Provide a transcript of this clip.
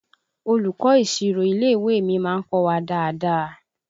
Olùkọ́ ìsirò ilé ìwé mi má ń kọ́ wa dáadáa